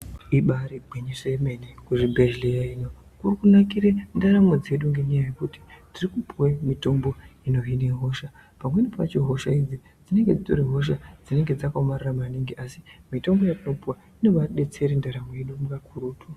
Ibaari ginyiso yemene, kuzvibhedhlera ino kurikunakire ndaramo dzedu ngenyaya yekuti tirikupiwe mitombo inohine hosha. Pamweni pacho hosha idzi dzinenge dzitori hosha dzinenge dzakaomarara maningi, asi mitombo yetinopiwa inobadetsere ndaramo yedu kakurutu.